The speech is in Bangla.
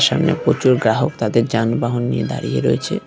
সামনে প্রচুর গ্রাহক তাদের যানবাহন নিয়ে দাঁড়িয়ে রয়েছে।